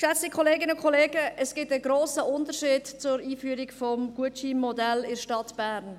Geschätzte Kolleginnen und Kollegen, es gibt einen grossen Unterschied zur Einführung des Gutscheinmodells in der Stadt Bern.